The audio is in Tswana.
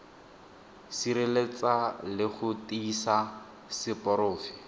sireletsa le go tiisa seporofe